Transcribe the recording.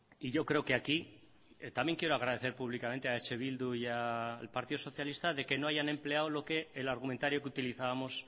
y yo creo que aquí también quiero agradecer públicamente a eh bildu y al partido socialista de que no hayan empleado el argumentario que utilizábamos